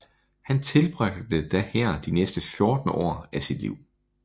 Han tilbragte da her de næste 14 år af sit liv